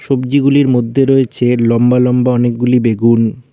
সবজি গুলির মধ্যে রয়েছে লম্বা লম্বা লম্বা অনেক গুলি বেগুন।